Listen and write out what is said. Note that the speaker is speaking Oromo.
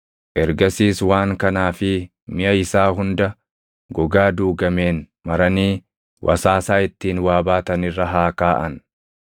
Ergasiis waan kanaa fi miʼa isaa hunda gogaa duugameen maranii wasaasaa ittiin waa baatan irra haa kaaʼan.